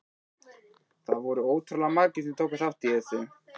Það voru ótrúlega margir sem tóku þátt í þessu.